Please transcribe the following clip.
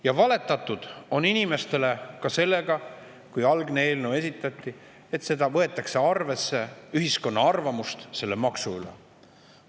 Ja valetatud on inimestele ka sellega, et kui algne eelnõu esitati, siis öeldi, et võetakse arvesse ka ühiskonna arvamust selle maksu kohta.